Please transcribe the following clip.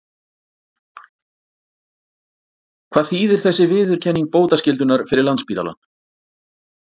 Hvað þýðir þessi viðurkenning bótaskyldunnar fyrir Landspítalann?